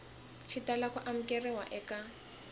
xi tala ku amukeriwa eka